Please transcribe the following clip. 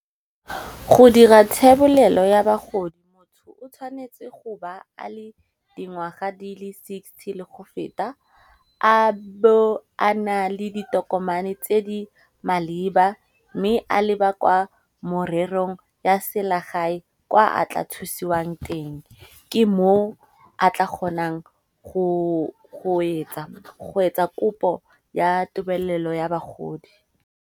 Go dira thebolelo ya bagodi motho o tshwanetse go ba ale dingwaga di le sixty le go feta, a bo a na le ditokomane tse di maleba mme a leba kwa morerong ya selegae kwa a tla thusiwang teng. Ke mo a tla kgonang go etsa kopo ya tebelelo ya bagodi.